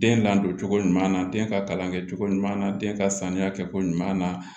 Den ladon cogo ɲuman na den ka kalan kɛcogo ɲuman na den ka sanuya kɛcogo ɲuman na